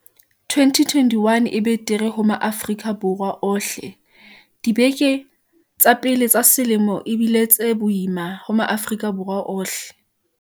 2021 e betere ho Maafrika Borwa ohleDibeke tsa pele tsa selemo e bile tse boima ho Maafri-ka Borwa ohle.